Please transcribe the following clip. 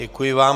Děkuji vám.